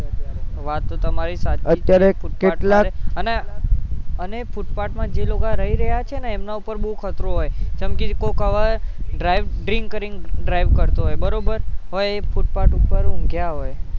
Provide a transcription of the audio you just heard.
વાત તો તમારી સાચી છે અને ફૂટપાથમાં જે લોકો રહી રહ્યા છે ને એના ઉપર બોવ ખતરો હોય જેમકે કોક હવે drink કરીને drive કરતો બરોબર હવે એ ફૂટપાથ ઉપર ઊંઘ્યાં હોય